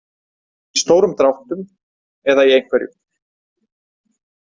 Í stórum dráttum eða í einhverju.